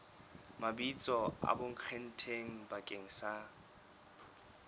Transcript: mabitso a bonkgetheng bakeng sa